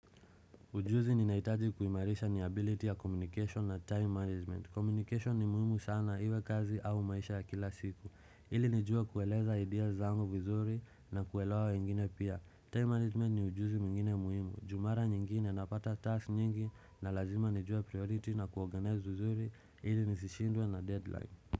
Ujuzi ni naitaji kuimarisha ni ability ya communication na time management. Communication ni muhimu sana iwe kazi au maisha ya kila siku. Ili nijue kueleza ideas zangu vizuri na kuelewa wengine pia. Time management ni ujuzi mwingine muhimu. Ju mara nyingine napata task nyingi na lazima nijua priority na kuorganize vuzuri. Ili nisishindwe na deadline.